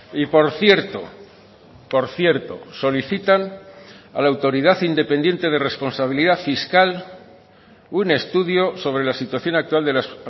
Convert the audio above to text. y por cierto por cierto solicitan a la autoridad independiente de responsabilidad fiscal un estudio sobre la situación actual de las